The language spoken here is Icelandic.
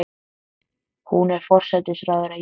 Hún er forsætisráðherra Íslands.